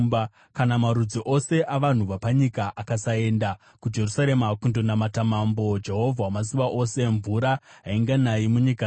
Kana marudzi ose avanhu vapanyika akasaenda kuJerusarema kundonamata Mambo, Jehovha Wamasimba Ose, mvura hainganayi munyika dzavo.